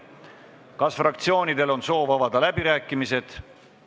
Kas fraktsioonidel on soovi avada läbirääkimisi?